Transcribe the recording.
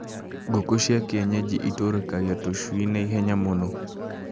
Ngũkũ cia kienyeji itũrĩkagia tũcui na ihenya mũno